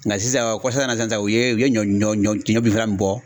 Nka sisan kɔsa in na sisan , u ye u ye ɲɔ ɲɔ bi fagalan min bɔ.